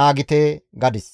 naagite» gadis.